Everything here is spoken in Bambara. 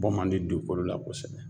Bɔ man di dugukolo la kosɛbɛ.